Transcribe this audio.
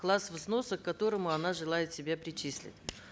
класс взноса к которому она желает себя причислить